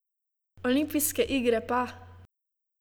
Olimpijske igre pa ...